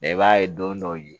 i b'a ye don dɔw ye